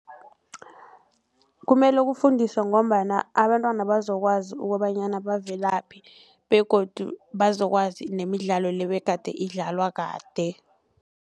Kumele kufundiswe ngombana abantwana bazokwazi ukobanyana bavelaphi begodu bazokwazi nemidlalo le begade idlalwa kade.